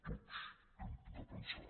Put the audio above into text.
tots hem de pensar